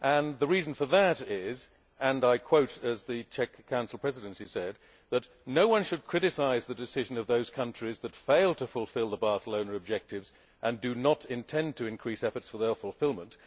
The reason for that is, and I quote from what the Czech Council Presidency said No one should criticise the decision of those countries that fail to fulfil the Barcelona objectives and do not intend to increase efforts for their fulfilment.